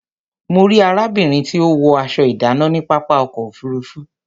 Mo rí arábìnrin tí ó wọ aṣọ ìdánà ní pápá ọkọ̀ òfurufú